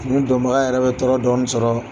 Fini dɔnbaga yɛrɛ bɛ tɔɔrɔ dɔɔni sɔrɔɔ.